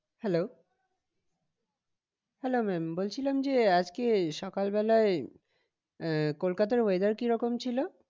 Hello hello ma'am বলছিলাম যে আজকে সকাল বেলায় আহ কলকাতার weather কিরকম ছিল?